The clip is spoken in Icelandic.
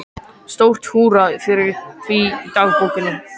Stórt húrra fyrir því í dagbókinni.